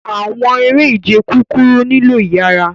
Awọn ere-ije kukuru nilo iyara